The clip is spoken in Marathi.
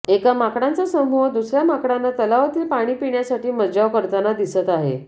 एका माकडांचा समूह दुसर्या माकडांना तलावातील पाणी पिण्यासाठी मज्जाव करताना दिसत आहे